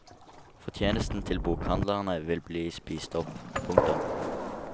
Fortjenesten til bokhandlerne vil bli spist opp. punktum